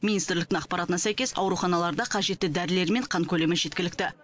министрліктің ақпаратына сәйкес ауруханаларда қажетті дәрілер мен қан көлемі жеткілікті